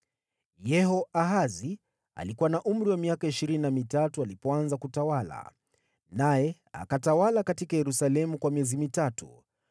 Yehoahazi alikuwa na umri wa miaka ishirini na mitatu alipoanza kutawala, akatawala huko Yerusalemu kwa miezi mitatu.